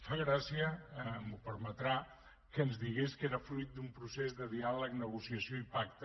fa gràcia m’ho permetrà que ens digués que era fruit d’un procés de diàleg negociació i pacte